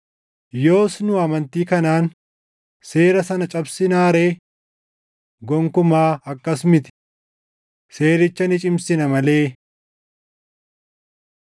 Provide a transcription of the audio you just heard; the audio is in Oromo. Yoos nu amantii kanaan seera sana cabsinaa ree? Gonkumaa akkas miti! Seericha ni cimsina malee.